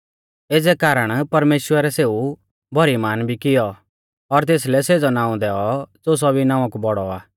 एज़ै कारण परमेश्‍वरै सेऊ भौरी महान भी कियौ और तेसलै सेज़ौ नाऊं दैऔ ज़ो सौभी नावां कु बौड़ौ आ